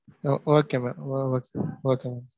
ஒ okay mam oh okay, okay mam.